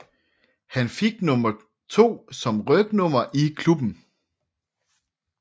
Han fik nummer 2 som rygnummer i klubben